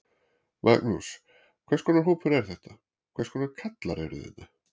Magnús: Hvers konar hópur er þetta, hvers konar kallar eru þetta?